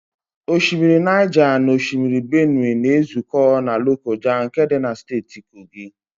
Osimiri Naịja na osimiri Benue na-ezụkọ na Lokoja nke dị na Steeti Kogi.